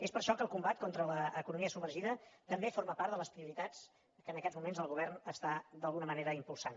és per això que el combat contra l’economia submergida també forma part de les prioritats que en aquests moments el govern està d’alguna manera impulsant